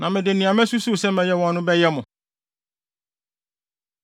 Na mede nea masusuw sɛ mɛyɛ wɔn no, bɛyɛ mo.”